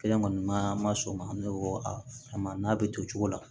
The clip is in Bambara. Kelen kɔni ma sɔn o ma an bɛ wɔ a kama n'a bɛ to cogo la